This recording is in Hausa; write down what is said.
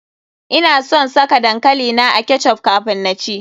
Ina son saka dankali na a ketch up kafun na ci.